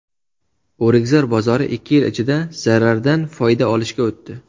O‘rikzor bozori ikki yil ichida zarardan foyda olishga o‘tdi .